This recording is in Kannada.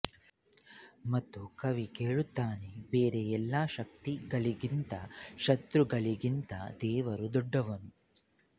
ಮತ್ತು ಕವಿ ಕೇಳುತ್ತಾನೆ ಬೇರೆ ಎಲ್ಲಾ ಶಕ್ತಿ ಗಳಿಗಿಂತ ಶತ್ರು ಗಳಿಗಿಂತ ದೇವರು ದೊಡ್ದವನು